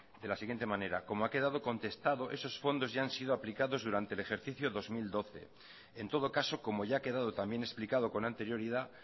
de la siguiente manera como ha quedado contestado esos fondos ya han sido aplicados durante el ejercicio dos mil doce en todo caso como ya ha quedado también explicado con anterioridad